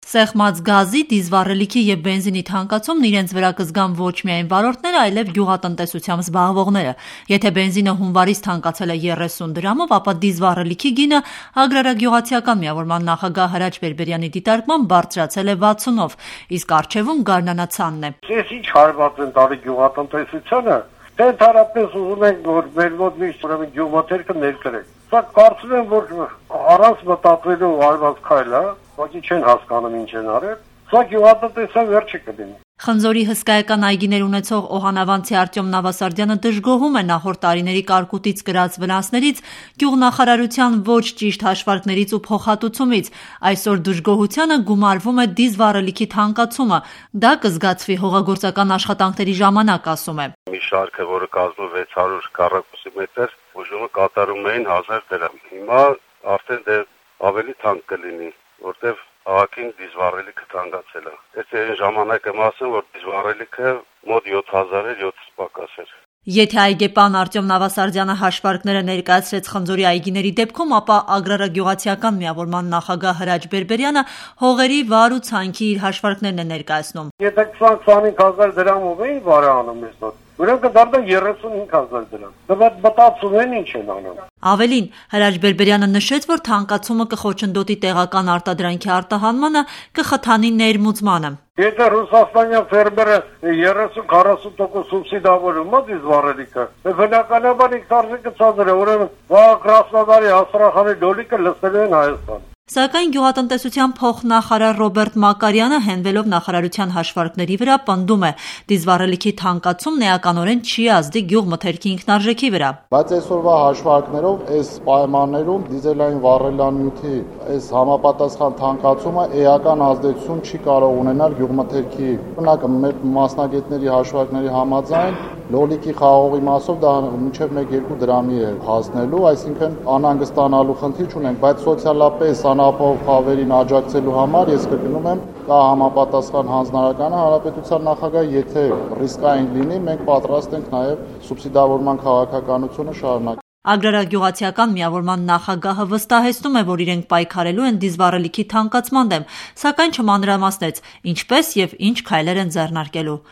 Սեղմած գազի, դիզվառելիքի և բենզինի թանկացումն իրենց վրա կզգան ոչ միայն վարորդները, այլեւ գյուղատնտեսությամբ զբաղվողները։ Եթե բենզինը հունվարից թանկացել է 30 դրամով, ապա դիզվառելիքի գինը, Ագրարագյուղացիական միավորման նախագահ Հրաչ Բերբերյանի դիտարկմամբ, բարձրացել է 60 -ով: Իսկ առջևում գարնանացանն է: «Էս ինչ հարված են տալիս գյուղատնտեսությանը, թե ընդհանրապես ուզում են մեզ մոտ միշտ գյուղմթերքը ներկրեն: Սա կարծում եմ, որ առանց մտածելու արված քայլ է: Սա գյուղատնտեսության վերջը կլինի»: Խնձորի հսկայական այգիներ ունեցող օհանավանցի Արտյոմ Նավասարդյանը դժգոհում է նախորդ տարիների կարկուտից կրած վնասներից, գյուղնախարարության ոչ ճիշտ հաշվարկներից ու փոխհատուցումից: Այսօր դժգոհությանը գումարվում է դիզվառելիքի թանկացումը։ Դա կզգացվի հողագործական աշխատանքներն ժամանակ: «Մի շարքը, որը կազմում է 600 քմ մետր, բուժումը կատարում էին 1000 դրամ: Հիմա ավելի թանկ կլինի, քանի որ դիզվառելիքը թանկացել է: Դա այն ժամանակ եմ ասում, որ դիզվառելիքը 7000 դրամ էր»: Եթե այգեպան Արտյոմ Նավասարդյանը հաշվարկները ներկայացրեց խնձորի այգիների դեպքում, ապա Ագրարագյուղացիական միավորման նախագահ Հրաչ Բերբերյանը հողերի վար ու ցանքի իր հաշվարկներն է ներկայացնում։ «Եթե նախկինում վարը կատարվում էր 25.000 դրամով, ապա այս թանկացման արդյունքում նույն աշխատանքը կկատարվի 35.000 դրամով»: Ավելին, Հրաչ Բերբերյանը նշեց, որ թանկացումը կխոչընդոտի տեղական արտադրանքի արտահանմանը, ավելին՝ կխթանի ներմուծմանը «Եթե ռուսաստանյան ֆերմերին 30-40 տոկոսով սուբսիդավորում են դիզվառելիքը, բնականաբար ինքնարժեքը ցածր է: Ուրեմն վաղը Կրասնոդարի, Աստրախանի լոլիկը լցնելու են Հայաստան»: Սակայն գյուղատնտեսության փոխնախարար Ռոբերտ Մակարյանը, հենվելով նախարարության հաշվարկների վրա, պնդում է դիզվառելիքի թանկացումն էականորեն չի ազդի գյուղմթերքի ինքնարժեքի վրա: «Այսօրվա հաշվարկներով այս պայմաններում դիզվառելիքի թանկացումն էական ազդեցություն չի կարող ունենալ գյուղմթերքի ինքնարժեքի վրա: Մեր մասնագետների հաշվարկների համաձայն՝ լոլիկի, խաղողի մասով մինչև 1-2 դրամի է հասնելու: Այսինքն՝ անհանգստանալու խնդիր չունենք: Բայց սոցիալապես անապահով խավերին աջակցելու համար կա հանրապետության նախագահի հանձնարարականը։ Եթե ռիսկային լինի, մենք պատրաստ ենք սուբսիդավորման քաղաքականությունը շարունակել»: Ագրարագյուղացիական միավորման նախագահը վստահեցնում է, որ իրենք պայքարելու են դիզվառելիքի թանկացման դեմ, սակայն չմանրամասնեց՝ ինչպես եւ ինչ քայլեր են ձեռնարկելու: